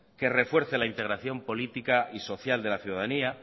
que refuerce la integración política y social de la ciudadanía